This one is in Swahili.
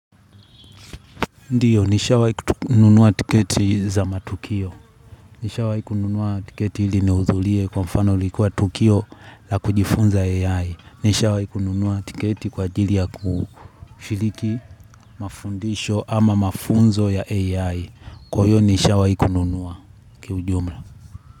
Ndio, nishawahi nunua tiketi, zamatukio. Nishawahi kununua tiketi ili niudhulie kwa mfano, likuwa tukio, la kujifunza AI. Nishawai kununua tiketi kwa ajili ya kushiliki mafundisho, ama mafunzo ya AI. Kwa hio nishawai kununua, ki ujumla.